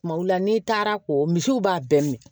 Kumaw la n'i taara ko misiw b'a bɛɛ minɛ